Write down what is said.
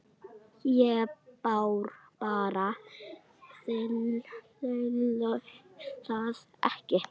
Ég bara þoli það ekki.